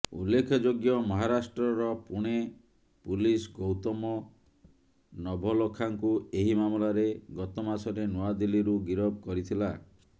ଉଲ୍ଲେଖଯୋଗ୍ୟ ମହାରାଷ୍ଟ୍ରର ପୁଣେ ପୁଲିସ୍ ଗୌତମ ନଭଲଖାଙ୍କୁ ଏହି ମାମଲାରେ ଗତ ମାସରେ ନୂଆଦିଲ୍ଲୀରୁ ଗିରଫ କରିଥିଲା